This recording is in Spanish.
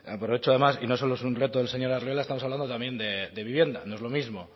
aprovecho además y no solo es un reto del señor arriola estamos hablando también de vivienda no es lo mismo